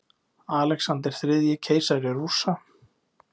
Alexander þriðji, keisari Rússa.